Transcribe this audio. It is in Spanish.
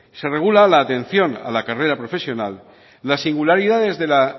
se regula la atención a la carrera profesional las singularidades de la